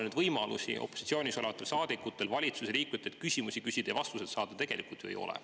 Ega opositsioonis olevatel saadikutel väga palju võimalusi valitsuse liikmetelt küsimusi küsida ja vastuseid saada tegelikult ju ei ole.